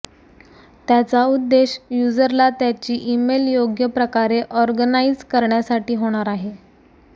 त्याचा उद्देश युजरला त्याची ईमेल योग्य प्रकारे ऑरगनाईज करण्यासाठी होणार आहे